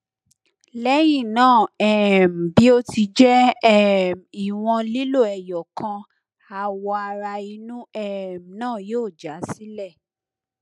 lẹhinna um bi o ti jẹ um iwọn lilo eyokan awo ara inu um naa yoo ja sile